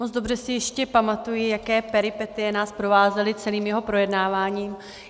Moc dobře si ještě pamatuji, jaké peripetie nás provázely celým jeho projednáváním.